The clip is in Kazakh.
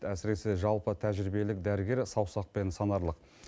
әсіресе жалпы тәжірибелік дәрігер саусақпен санарлық